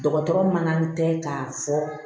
Dɔgɔtɔrɔ man tɛ k'a fɔ